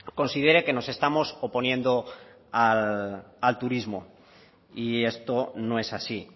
considere que nos estamos oponiendo al turismo y esto no es así